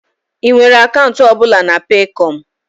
Ị nwere akaụntụ ọ bụla na Peekọm?